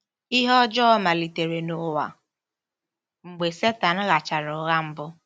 Ihe ọjọọ malitere n’ụwa mgbe Setan ghachara ụgha mbụ.